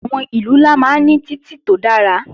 Àwọn ìlú ńlá máa ń ní títì tó dára